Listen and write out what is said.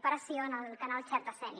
operació en el canal xerta sénia